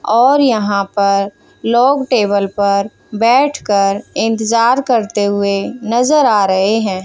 और यहां पर लोग टेबल पर बैठकर इंतजार करते हुए नजर आ रहे हैं।